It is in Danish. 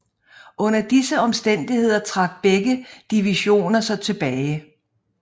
Under disse omstændigheder trak begge divisioner sig tilbage